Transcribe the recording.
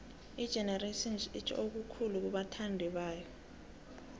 igenerations itjho okukhulu kubathandibayo